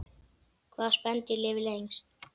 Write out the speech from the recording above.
Hvaða spendýr lifir lengst?